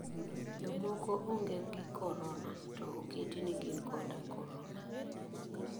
Jomoko ong'e gi kororna, to oketi ni gin koda korona.